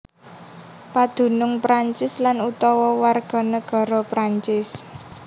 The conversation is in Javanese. Padunung Prancis lan utawa warganegara Prancis